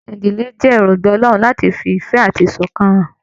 Ìdílé jẹ èròngbà Ọlọrun láti fí ìfẹ àti iṣọkan hàn.